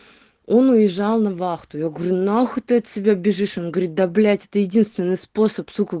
он уезжал на вахту я говорю нахуй ты от себя бежишь он говорит да блять это единственный способ сука